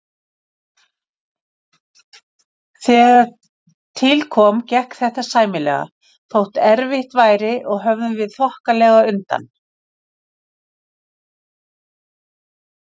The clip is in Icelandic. Þegar til kom, gekk þetta sæmilega, þótt erfitt væri, og höfðum við þokkalega undan.